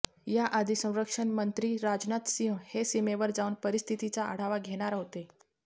याआधी संरक्षणमंत्री राजनाथ सिंह हे सीमेवर जाऊन परिस्थितीचा आढावा घेणार होते